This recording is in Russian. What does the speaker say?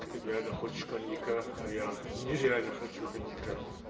ты реально хочешь коньяка а я нереально хочу коньяка